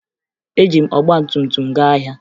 Eji m ọgbatumtum m gaa ahịa